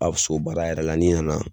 A so baara yɛrɛ la ni nana